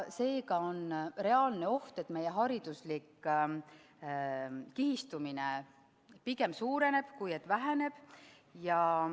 Seega on reaalne oht, et meie hariduslik kihistumine pigem suureneb, kui väheneb.